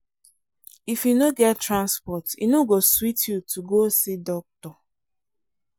if you no get transport e no go sweet you to go see doctor.